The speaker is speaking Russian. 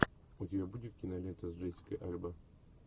у тебя будет кинолента с джессикой альба